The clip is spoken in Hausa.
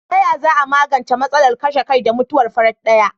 Taya za a magance matsalar kashe kai da mutuwar farat daya?